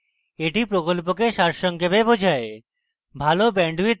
এটি প্রকল্পকে সারসংক্ষেপে বোঝায়